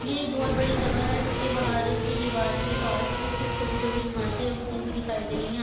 ये एक बहुत बड़ी जगह जिस के बाहर के दिवार के पास कुछ छोटी-छोटी घासे उगती हुई दिखाई दे रही है।